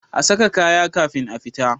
A saka kaya kafin a fita